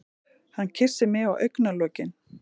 Hann kyssir mig á augnalokin.